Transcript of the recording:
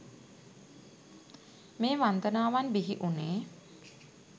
මේ වන්දනාවන් බිහි වුනේ